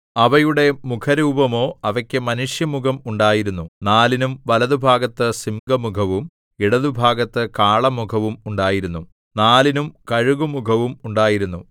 അവയുടെ മുഖരൂപമോ അവയ്ക്കു മനുഷ്യമുഖം ഉണ്ടായിരുന്നു നാലിനും വലത്തുഭാഗത്ത് സിംഹമുഖവും ഇടത്തുഭാഗത്ത് കാളമുഖവും ഉണ്ടായിരുന്നു നാലിനും കഴുകുമുഖവും ഉണ്ടായിരുന്നു